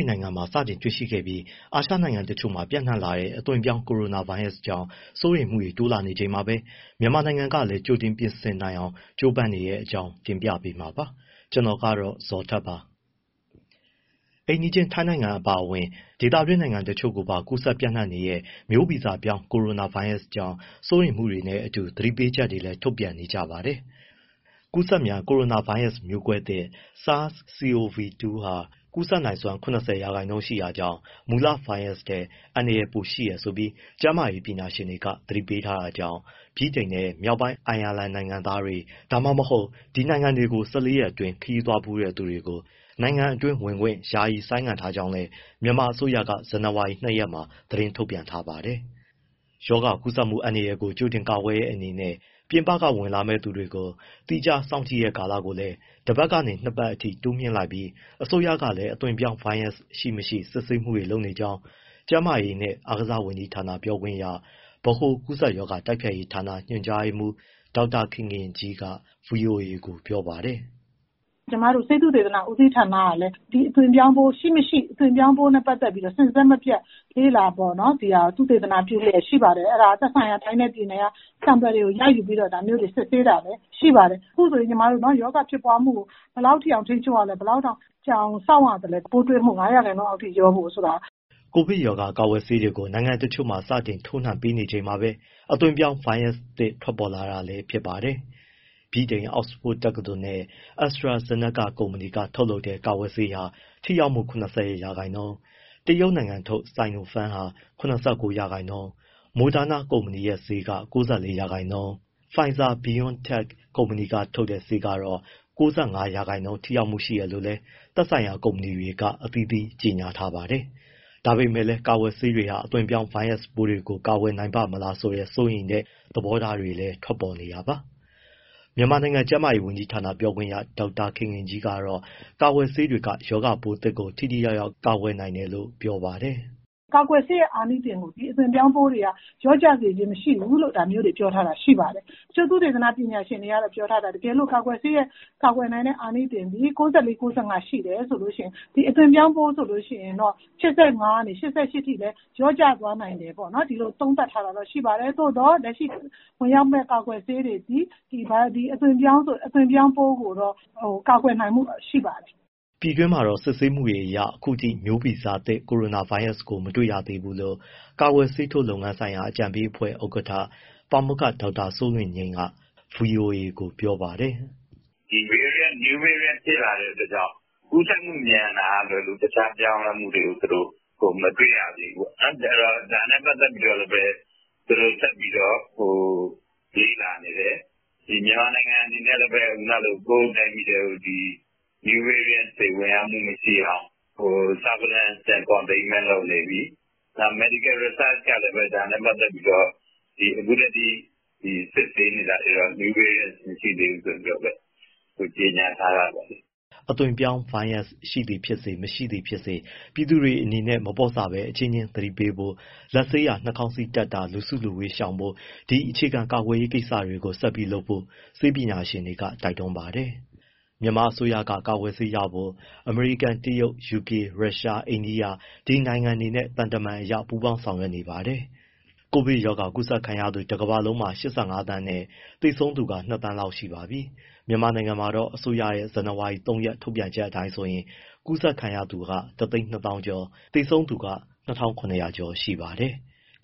န်နိုင်ငံမှာ စတင်တွေ့ရှိခဲ့ပြီး အာရှနိုင်ငံတချို့မှာပါ ပျံ့နှံ့လာတဲ့ အသွင်ပြောင်း ကိုရိုနာဗိုင်းရပ်ကြောင့် စိုးရိမ်မှုတွေ တိုးလာနေချိန်မှာပဲ မြန်မာနိုင်ငံမှာလည်း ကြိုတင်ကာကွယ်နိုင်အောင် ကြိုးပမ်းနေတဲ့အကြောင်းကို ဗွီအိုအေမြန်မာပိုင်း သတင်းထောက် ကိုဇော်ထက်က တင်ပြပေးမှာပါ။ အိမ်နီးချင်း ထိုင်းနိုင်ငံ အပါအဝင် ဒေသတွင်းနိုင်ငံတချို့ကိုပါ ပျံ့နှံ့ကူးစက်နေတဲ့ မျိုးဗီဇပြောင်း ကိုရိုနာဗိုင်းရပ်စ်ကြောင့် စိုးရိမ်မှုတွေနဲ့အတူ သတိပေးချက်တွေလည်း ထုတ်ပြန်နေကြပါတယ်။ ကူးစက်မြန် ကိုရိုနာဗိုင်းရပ်စ် မျိုးကွဲသစ် SARS-CoV-2 ဟာ ကူးစက်နိုင်စွမ်း ၇၀% ထိရှိတာကြောင့် မူလဗိုင်းရပ်စ်ထက် အန္တရာယ်ရှိတယ်လို့ ကျန်းမာရေးပညာရှင်တွေ သတိပေးထားတာကြောင့် ဗြိတိန်နဲ့ မြောက်ပိုင်း အိုင်ယာလန် နိုင်ငံသားတွေ၊ ဒါမှမဟုတ် ဒီနိုင်ငံတွေကို ၁၄ ရက်အတွင်း ခရီးသွားဖူးတဲ့ သူတွေကို နိုင်ငံထဲဝင်ခွင့် ယာယီဆိုင်းငံ့ထားကြော်ငးလည်း မြန်မာအစိုးရက ဇန်နဝါရီ ၂ ရက်မှာ သတင်းထုတ်ပြန်ထားတာပါ။ ရောဂါကူးစက်မှု အန္တရာယ်ကို ကြိုတင်ကာကွယ်တဲ့ အနေနဲ့ ပြင်ပကဝင်လာမယ့်သူတွေကို သီခြားထားစောင့်ကြည့်ကာလ တပတ်ကနေ နှစ်ပတ်အထိ တိုးမြှင့်လိုက်ပြီး အစိုးရကလည်း အသွင်ပြောင်းဗိုင်းရပ်စ်ရှိ၊ မရှိ စစ်ဆေးမှုတွေ လုပ်နေကြောင်း ကျန်းမာရေးနဲ့ အားကစားဝန်ကြီးဌာန ပြောခွင့်ရ ဗဟိုကူးစက်ရောဂါ တိုက်ဖျက်ရေးဌာန ညွှန်ကြားရေးမှူး ဒေါက်တာခင်ခင်ကြီးက ဗွီအိုအေကို ပြောပါတယ်။ “ကျမတို့ ဆေးသုတေသန ဦးစီးဌာနကလည်း ဒီအသွင်ပြောင်းပိုး ရှိ၊ မရှိ အသွင်ပြောင်းပိုးနဲ့ ပတ်သက်ပြီး စဉ်ဆက်မပြတ် လေ့လာ၊ သုတေသနပြုလျက် ရှိပါတယ်။ အဲဒါက သက်ဆိုင်ရာ တိုင်းနဲ့ ပြည်နယ်က နမူနာတွေ ရယူပြီးတော့ ဒါမျိုးတွေ စစ်ဆေးပါတာ ရှိပါတယ်။ အခုဆိုရင် ရောဂါဖြစ်ပွားမှု ဘယ်လောက်အထိအောင် ထိန်းချုပ်ရလဲ၊ ဘယ်လောက်တောင် ကြာအောင်စောင့်ရလဲ ပိုးတွေ့မှု ၅ ရာခိုင်နှုန်းအောက် လျော့ဖို့ဆိုတာ။” ကိုဗစ်ရောဂါကာကွယ်ဆေးတွေကို နိုင်ငံတချို့မှာ စတင်ထိုးနှံပေးနေချိန်မှာပဲ အသွင်ပြောင်း ဗိုင်းရပ်စ်ပိုးသစ်ထွက်ပေါ်လာတာလည်း ဖြစ်ပါတယ်။ ဗြိတိန် အောက်စ်ဖို့ဒ်တက္ကသိုလ်နဲ့ AstraZaneca ကုမ္ပဏီက ထုတ်လုပ်တဲ့ ကာကွယ်ဆေးဟာ ထိရောက်မှု ၇၀ ရာခိုင်နှုန်း၊ တရုတ်နိုင်ငံထုတ် Sinopharm က ၇၉ ရာခိုင်နှုန်း၊ Moderna ကုမ္ပဏီရဲ့ဆေးက ၉၄ ရာခိုင်နှုန်းနဲ့ Pfizer/ BioNTech ကုမ္ပဏီက ထုတ်တဲ့ ဆေးကတော့ ၉၅ ရာခိုင်နှုန်း ထိရောက်မှုရှိတယ်လို့လည်း သက်ဆိုင်ရာ ကုမ္ပဏီတွေက ကြေညာထားကြပါတယ်။ ဒါပေမဲ့လည်း ကာကွယ်ဆေးတွေဟာ အသွင်ပြောင်း ဗိုင်းရပ်စ်ပိုးတွေကို ကာကွယ်နိုင်ပါ့မလား စိုးရိမ်တဲ့ သဘောထားတွေလည်း ထွက်ပေါ်နေတာပါ။ မြန်မာနိုင်ငံ ကျန်းမာရေးဝန်ကြီးဌာန ပြောခွင့်ရ ဒေါက်တာခင်ခင်ကြီးကတော့ ကာကွယ်ဆေးတွေက ရောဂါပိုးသစ်ကိုပါ ထိထိရောက်ရောက် ကာကွယ်နိုင်တယ်လို့ ပြောပါတယ်။ “ကာကွယ်ဆေးရဲ့ အာနိသင်သည် အသွင်ပြောင်းပိုးတွေက လျော့ကျစေခြင်း မရှိဘူးလို့ ဒါမျိုးတွေ ပြောထားတာ ရှိပါတယ်။ ဆေးသုတေသန ပညာရှင်တွေကတော့ ပြောထားတာ တကယ်လို့ ကာကွယ်ဆေးရဲ့ ကာကွယ်နိုင်တဲ့ အာနိသင်သည် ၉၄/၉၅ % ရှိတယ်ဆိုရင် ဒီအသွင်ပြောင်းပိုး ဆိုရင်တော့ ၈၅ ကနေ ၈၈ အထိလျော့ကျသွားနိုင်တယ်ပေါ့နော်။ ဒီလိုသုံးသပ်ထားတာ ရှိပါတယ်။ သို့သော် လက်ရှိ (ပြည်တွင်းကို) ဝင်ရောက်မယ့် ကာကွယ်ဆေးတွေသည် အသွင်ပြောင်းပိုးကို ကာကွယ်နိုင်မှု ရှိပါတယ်။” ပြည်တွင်းမှာတော့ စစ်ဆေးမှုတွေအရ အခုထိ မျိုးဗီဇသစ်ကိုရိုနာဗိုင်းရပ်စ်ကို မတွေ့ရသေးဘူးလို့ ကာကွယ်ဆေးထိုးလုပ်ငန်းဆိုင်ရာ အကြံပေးအဖွဲ့ ဥက္ကဋ္ဌ ပါမောက္ခ ဒေါက်တာစိုးလွင်ငြိမ်းက ဗွီအိုအေကို ပြောပါတယ်။ “New variant ဖြစ်လာတဲ့အတွက်ကြောင့် ကူးစက်မှုမြန်မာက လွဲလို့ တခြားပြောင်းလဲမှုတွေကို သူတို့ (ပညာရှင်တွေ) မတွေ့ရသေးဘူး။ ဒါနဲ့ပတ်သက်ပြီး သူတို့ဆက်ပြီး လေ့လာနေတယ်။ မြန်မာနိုင်ငံအနေနဲ့လည်းပဲ ကိုယ့်တိုင်းပြည်ထဲ new variant တွေ ဝင်ရောက်မှုမရှိအောင် surveillance/containment လုပ်နေပြီ။ နောက် medical research ကလည်း ဒါနဲ့ပတ်သက်ပြီးတော့ အခုထိ စစ်ဆေးနေတာတွေတော့ new variant မရှိသေးဘူးလို့ ကြေညာထားတာတော့။” အသွင်ပြောင်းဗိုင်းရပ်စ် ရှိသည်ဖြစ်စေ၊ မရှိသည်ဖြစ်စေ ပြည်သူတွေအနေနဲ့ မပေါ့ဆဘဲ အချင်းချင်း သတိပေးဖို့၊ လက်ဆေးတာ၊ နှာခေါင်းစည်းတပ်တာ လူစုလူဝေးရှောင်ဖို့ ဒီအခြေခံကာကွယ်ရေး ကိစ္စတွေကို ဆက်ပြီးလုပ်နေဖို့ ဆေးပညာရှင်တွေက တိုက်တွန်းပါတယ်။ မြန်မာအစိုးရက ကာကွယ်ဆေးရဖို့ အမေရိကန်၊ တရုတ်၊ ယူကေ၊ ရုရှား၊ အိန္ဒိယ ဒီနိုင်ငံတွေနဲ့ သံတမန်အရ ပူးပေါင်းဆောင်ရွက်နေပါတယ်။ ကိုဗစ်ရောဂါကူးစက်ခံရသူ တကမ္ဘာလုံးမှာ ၈၅ သန်းနဲ့ သေဆုံးသူက ၂,၀၀၀,၀၀၀ လောက်ရှိပါပြီ။ မြန်မာနိုင်ငံမှာတော့ အစိုးရရဲ့ ဇန်နဝါရီ ၃ ရက် ထုတ်ပြန်ချက် အတိုင်းဆိုရင် ကူးစက်ခံရသူ ၁၂၀,၀၀၀ ကျော်၊ သေဆုံးသူက ၂,၇၀၀ ကျော်ရှိပါတယ်။